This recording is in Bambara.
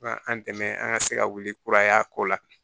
Ka an dɛmɛ an ka se ka wuli kura y'a ko la